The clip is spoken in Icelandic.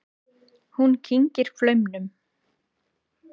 Hún kyngir flaumnum.